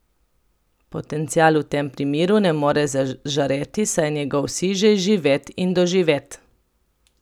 Potencial v tem primeru ne more zažareti, saj je njegov sij že izživet in doživet.